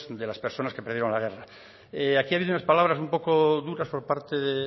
de las personas que perdieron la guerra aquí ha habido unas palabras un poco duras por parte del